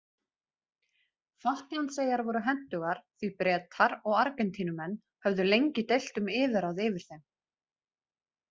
Falklandseyjar voru hentugar því Bretar og Argentínumenn höfðu lengi deilt um yfirráð yfir þeim.